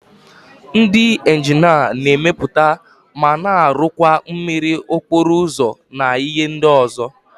Ndị injinia na-emepụta ma na-arụ àkwà mmiri, okporo ụzọ na ihe ndị ọzọ.